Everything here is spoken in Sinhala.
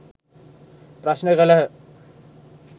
ප්‍රශ්න කළහ.